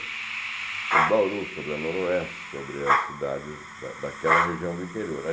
Sobre Bauru, sobre a Noroeste, sobre as cidades da daquela região do interior.